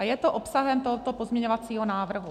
A je to obsahem tohoto pozměňovacího návrhu.